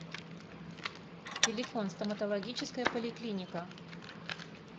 телефон стоматологическая поликлиника